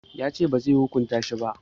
Ya ce bazai hukunta shi ba